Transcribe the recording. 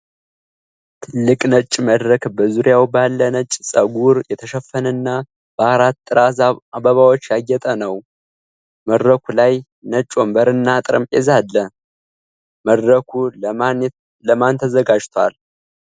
ትልቅ ነጭ መድረክ፣ በዙሪያው ባለ ነጭ ፀጉር የተሸፈነና በአራት ጥራዝ አበባዎች ያጌጠ ነው። መድረኩ ላይ ነጭ ወንበርና ጠረጴዛ አለ። መድረኩ ለማን ተዘጋጅቷል?